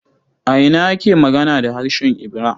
A ina ake magana da harshen Ibira?